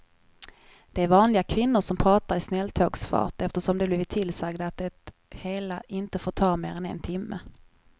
Det är vanliga kvinnor som pratar i snälltågsfart eftersom de blivit tillsagda att det hela inte får ta mer än en timme.